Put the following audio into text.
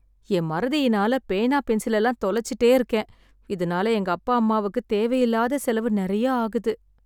என் மறதியினால பேனா, பென்சிலெல்லாம் தொலைச்சிட்டே இருக்கேன். இதனால எங்கப்பா அம்மாவுக்குத் தேவையில்லாத செலவு நெறைய ஆகுது.